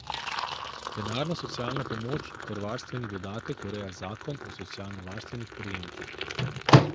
Denarno socialno pomoč ter varstveni dodatek ureja Zakon o socialnovarstvenih prejemkih.